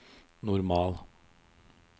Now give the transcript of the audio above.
normal